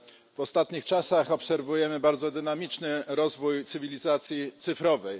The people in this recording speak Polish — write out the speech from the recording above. W ostatnich czasach obserwujemy bardzo dynamiczny rozwój cywilizacji cyfrowej.